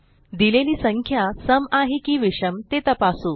दिलेली संख्या सम आहे की विषम ते तपासू